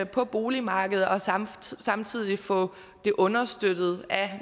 på boligmarkedet og samtidig samtidig få det understøttet af